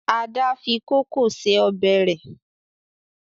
Ada fí kókò ṣe Ọbẹ̀ re.